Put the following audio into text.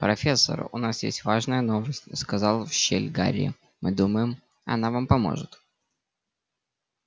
профессор у нас есть важная новость сказал в щель гарри мы думаем она вам поможет